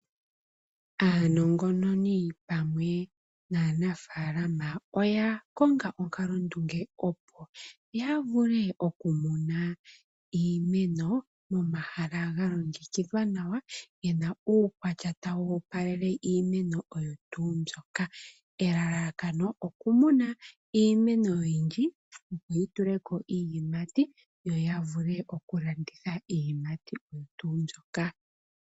Aanongononi pamwe naanafaalama oya konga onkalondunge opo yavule okumona iimeno momahala ga longekidhwa nawa gena uukwatya tawu opalele iimeno oyo tuu mbyoka. Elalakano oku muna iimeno oyindji, yo yituleko iiyimati yo yavule okulanditha iiyimati oyo tuu ndjoka.